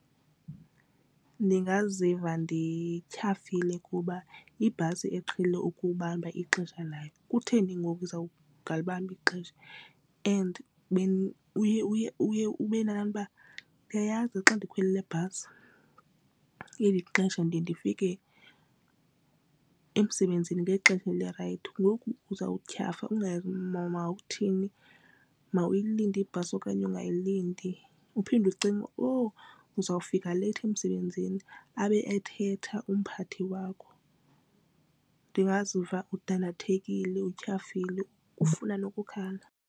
Ndingaziva ndityhafile kuba ibhasi eqhele ukubamba ixesha lakho kutheni ngoku izawungalibambi ixesha. And uye ube nalaa nto uba ndiyayazi xa ndikhwele le bhasi eli xesha ndiye ndifike emsebenzini ngexesha elirayithi ngoku uzawutyhafa ungayazi mawuthini mawuyilinde ibhasi okanye ungayilindi. Uphinde ucinge uzawufika leyithi emsebenzini abe ethetha umphathi wakho, ndingaziva ndidandathekile utyhafile ufuna nokukhala.